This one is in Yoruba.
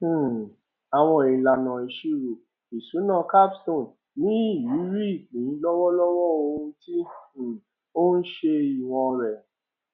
um àwọn ìlànà ìṣirò ìṣúná capstone ní ìrírí ìpín lọwọlọwọ ohun tí um ó ń ṣe ìwọn rẹ